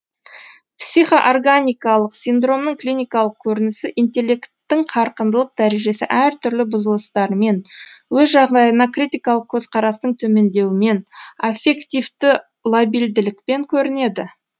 психоорганикалық синдромның клиникалық көрінісі интеллекттің қарқындылық дәрежесі әртүрлі бұзылыстарымен өз жағдайына критикалық көзқарастың төмендеуімен аффективті лабильділікпен көрінеді